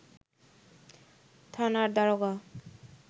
থানার দারোগা